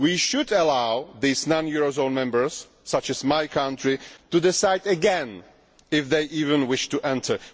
We should allow non eurozone members, such as my country, to decide again if they even wish to enter.